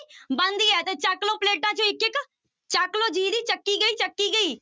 ਬਣਦੀ ਹੈ ਤੇ ਚੁੱਕ ਲਓ ਪਲੇਟਾਂ ਚੋਂ ਇੱਕ ਇੱਕ, ਚੱਕ ਲਓ ਜਿਹਦੀ ਚੱਕੀ ਗਈ ਚੁੱਕੀ ਗਈ।